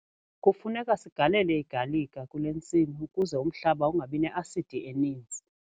Kufuneka sigalele igalika kule ntsimi ukuze umhlaba ungabi ne-asidi eninzi.